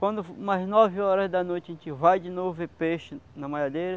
Quando umas nove horas da noite, a gente vai de novo ver peixe na malhadeira.